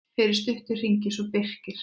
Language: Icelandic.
Fyrir stuttu hringdi svo Birkir.